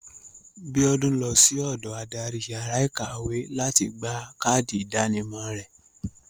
Biodun lọsí ọ̀dọ adarí yàrá ìyáwèékàwé láti gba káàdì ìdánimọ̀ rẹ̀.